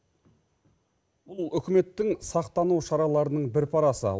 бұл үкіметтің сақтану шараларының бір парасы